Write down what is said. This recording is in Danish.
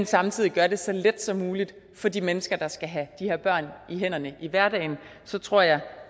samtidig gør det så let som muligt for de mennesker der skal have de her børn i hænderne i hverdagen så tror jeg